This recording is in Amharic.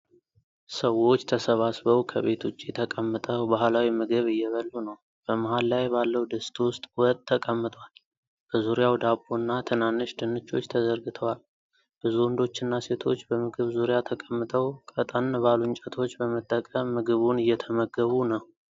ሰዎች ተሰባስበው ከቤት ውጭ ተቀምጠው ባህላዊ ምግብ እየበሉ ነው። በመሃል ላይ ባለው ድስት ውስጥ ወጥ ተቀምጧል፣ በዙሪያው ዳቦ እና ትናንሽ ድንቾች ተዘርግተዋል። ብዙ ወንዶችና ሴቶች በምግብ ዙሪያ ተቀምጠው ቀጠን ባሉ እንጨቶች በመጠቀም ምግቡን እየተመገቡ ነው።